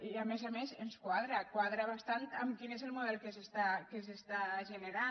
i a més a més ens quadra quadra bastant amb quin és el model que s’està generant